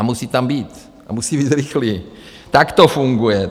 A musí tam být a musí být rychlý, tak to funguje.